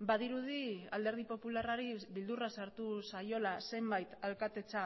badirudi alderdi popularrari beldurra sartu zaiola zenbait alkatetza